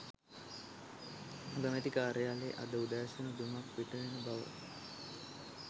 අගමැති කාර්යාලයේ අද උදෑසන දුමක් පිටවෙන බව